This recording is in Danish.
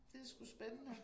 Det sgu spændende